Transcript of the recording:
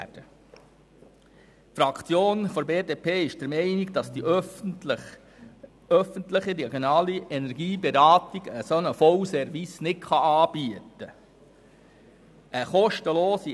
Die Fraktion der BDP ist der Meinung, dass die öffentliche regionale Energieberatung einen solchen Vollservice nicht anbieten kann.